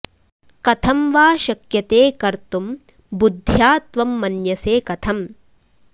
कथं वा शक्यते कर्तुं बुद्ध्या त्वं मन्यसे कथं